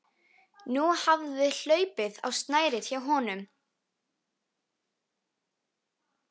Nú hafði hlaupið á snærið hjá honum.